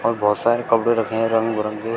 बहोत सारे कपड़े रखे हैं रंग बिरंगे।